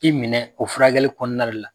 I minɛ o furakɛli kɔnɔnare la